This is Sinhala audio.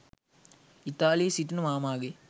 ඉතාලියේ සිටින මාමාගේ